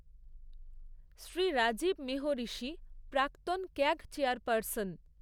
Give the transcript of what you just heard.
শ্রী রাজীব মেহঋষি, প্রাক্তন CAG chairperson